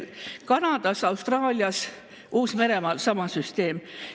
Kanadas, Austraalias, Uus-Meremaal on sama süsteem.